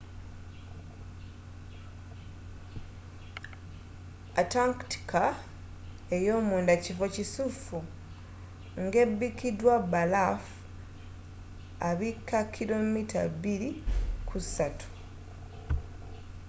antarctica eyomunda kifo kikusifu ngebikidwa balaafu abikka 2-3km